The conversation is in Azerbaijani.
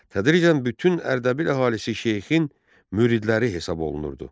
Tədricən bütün Ərdəbil əhalisi Şeyxin müridləri hesab olunurdu.